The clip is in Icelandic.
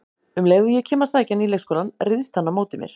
Um leið og ég kem að sækja hann í leikskólann, ryðst hann á móti mér